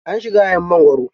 An shiga yayin mangwaro.